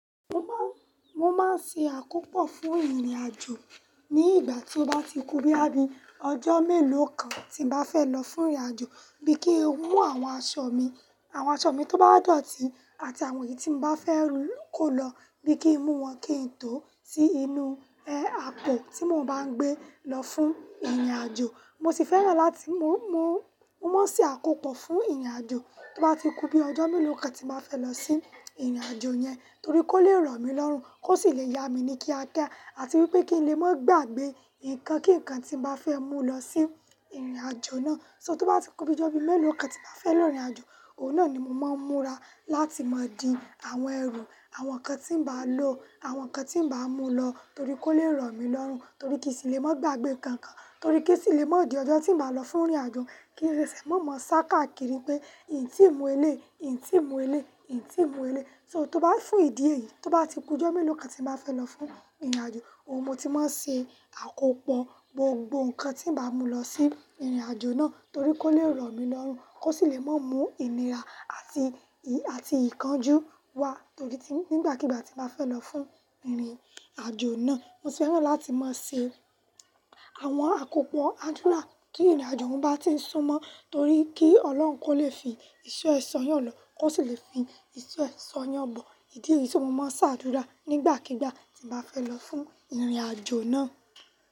Mo má, mo máa ń ṣe àkópọ̀ fún ìrìnàjò ní ìgbà tí ó bá ti ku bíi àbí ọjọ́ mélòó kan tí n bá fẹ́ lọ fún ìrìnàjò, bí kí n mú àwọn aṣọ mi, àwọn aṣọ mi tó bá dọ̀tí àti àwọn èyí tí n bá fẹ́ kó lọ bí kí n mú wọn kí n tó ti inú, e, apò tí mo bá ń gbé lọ fún ìrìnàjò. Mo sì fẹ́ràn láti mo mú, mo máa ń ṣe àkópọ̀ fún ìrìnàjò tó bá ti ku bí ọjọ́ mélòó kan tí màá fẹ́ lọ sí ìrìnàjò yẹn torí kó lè rọ̀ mí lọ́run, kó sì lè yá mi ní kíákiá àti wípé kí n lè má gbagbe nǹkan kíǹkan tí n bá fẹ́ mú lọ sí ìrìnàjò náà. So tó bá ti ku bí ọjọ́ mélòó kan tí màá fẹ́ lọ ìrìnàjò, òun náà ni mo máa ń múra láti máa di àwọn ẹrù, àwọn ǹkan tí n bá lò, àwọn ǹkan tí n bá mú lọ torí kó lè rọ̀ mí lọ́run, torí kí sì lè má gbagbe kan kan, torí kí sì lè má di ọjọ́ tí n bá lọ fún ìrìnàjò kí n lè sì má mọ sáká kiri pé ìyìń tí n mú elé, ìyìń tí n mú elé, ìyìń tí n mú elé. So tó bá fún ìdí èyí, tó bá ti ku ọjọ́ mélòó kan tí màá fẹ́ lọ fún ìrìnàjò, òun mo ti máa ń ṣe àkópọ̀ gbogbo ǹkan tí n bá mú lọ sí ìrìnàjò náà torí kó lè rọ̀ mí lọ́run, kó sì lè má mú ìnira àti, àti ìkánjú wá torí tí, nígbàkigbà tí màá fẹ́ lọ fún ìrìnàjò náà. Mo sì fẹ́ràn láti máa ṣe àwọn àkópọ̀ àdúrà kí ìrìnàjò mo bá ti ń súnmọ́ torí kí Ọlọ́run kó lè fi ìṣọ́ ẹ sọ yàn lọ, kó sì lè fi ìṣọ́ ẹ sọ yàn bọ̀. Ìdí èyí tí mo máa ń sá àdúrà nígbàkigbà tí màá fẹ́ lọ fún ìrìnàjò náà.